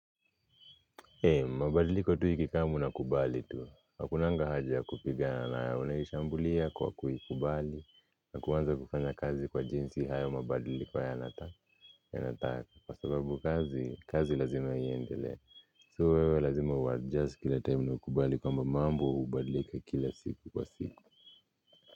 Mabadiliko tu ikikamu unakubali. Hakunanga haja ya kupiga nayo unaishambulia kwa kuikubali na kuanza kufanya kazi kwa jinsi hayo mabadiliko yanataka kwa sababu kazi, kazi lazima iendelee. So wewe lazima uadjust kila time na ukubali kwamba mambo hubadilika kila siku kwa siku.